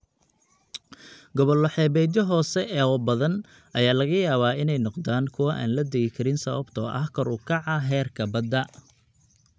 Gobollo xeebeedyo hoose oo badan ayaa laga yaabaa inay noqdaan kuwo aan la degi karin sababtoo ah kor u kaca heerka badda.